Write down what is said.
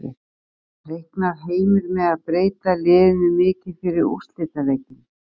Reiknar Heimir með að breyta liðinu mikið fyrir úrslitaleikinn?